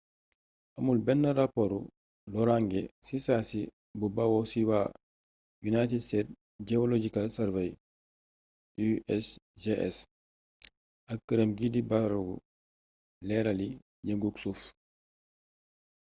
amul benn raporu loraange ci saasi bu bawoo ci waa united states geological survey usgs ak këram gii di barabu leerali yëngug suuf